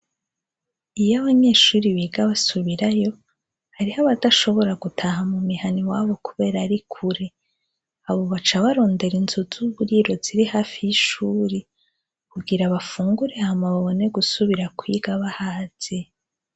Iyo abanyeshuri biga basubirayo, hariho abadashobora gutaha mu mihana iwabo kubera ari kure. Abo baca barondera inzu z'uburiro ziri hafi y'ishuri, kugira bafungure, hama babone gusubira kwiga bahaze.